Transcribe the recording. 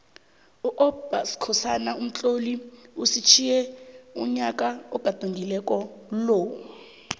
upbskhosana umtloli usitjhiye unyaka ogadungako lo